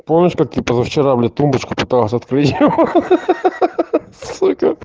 помнишь как ты позавчера блять тумбочку пытался открыть ха-ха